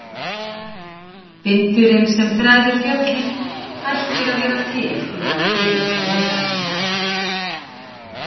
Vindurinn, sem þræðir fjöllin, hættir að vera til þegar hann kemur á leiðarenda.